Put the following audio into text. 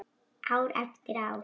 Ár eftir ár.